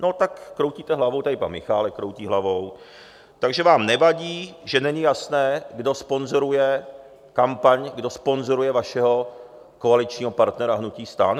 No tak kroutíte hlavou, tady pan Michálek kroutí hlavou, takže vám nevadí, že není jasné, kdo sponzoruje kampaň, kdo sponzoruje vašeho koaličního partnera hnutí STAN?